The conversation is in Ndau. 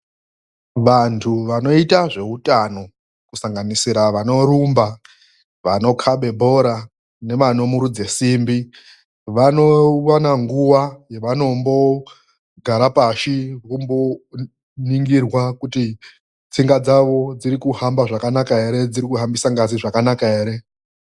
Vantu vanoita zveutano kusanganisira vanorumba, vanokabe bhora nevanomurudza simbi vanowana nguva yavanombogara pasi yavanoringirwa kuti tsinga dzavo dziri kuhamba zvakanaka here ? dziri kuhambisa ngazi zvakanaka here ?